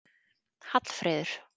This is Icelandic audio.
Hallfreður